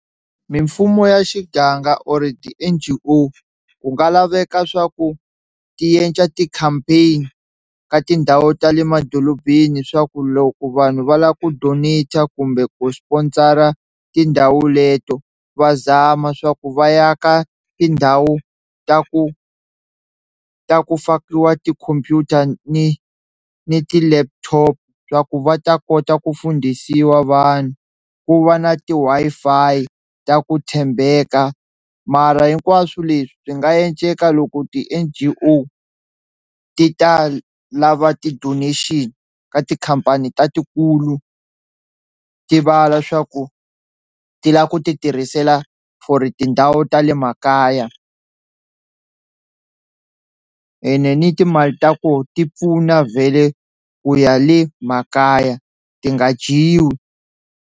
Mimfumo ya xiganga or ti-N_G_O ku nga laveka swa ku ti endla ti-campaign ka tindhawu ta le madorobeni swa ku loko vanhu va lava ku donator kumbe ku sponsor tindhawu leto va zama swa ku va ya ka tindhawu ta ku ta ku fakiwa tikhompyuta ni ni ti-laptop swa ku va ta kota ku fundhisiwa vanhu, ku va na ti-Wi-Fi ta ku tshembeka mara hinkwaswo leswi swi nga endleka loko ti-N_G_O ti ta lava ti-donation ka tikhampani ta tikulu ti vala swa ku ti lava ku ti tirhisela for tindhawu ta le makaya ene ni timali ta koho ti pfuna vhele ku ya le makaya ti nga dyiwi.